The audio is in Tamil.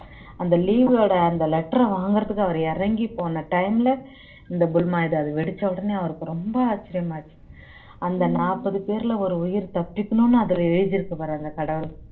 அந்த leave வோட அந்த letter ஐ வாங்குறதுக்கு அவர் இறங்கி போன time ல இந்த புல்வாமா இது வெடிச்ச உடனே அவருக்கு ரொம்ப ஆச்சரியமா ஆயிருச்சு அந்த நாற்பது பேர்ல ஒரு உயிர் தப்பிக்கணும்னு அதுல எழுதிருக்குது பாரு அந்த கடவுள்